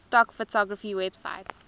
stock photography websites